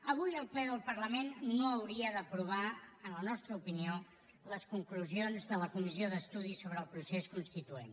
avui el ple del parlament no hauria d’aprovar en la nostra opinió les conclusions de la comissió d’estudi sobre el procés constituent